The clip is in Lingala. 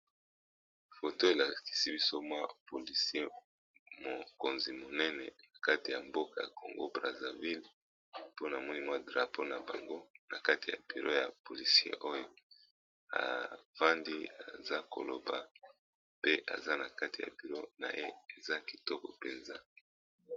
Foto elakisi biso mwa polisie mokonzi monene na kati ya mboka ya congo brazaville, po namoni mwa drapo na bango na kati ya buro ya polisie oyo afandi aza koloba pe aza na kati ya buro na ye eza kitoko penza.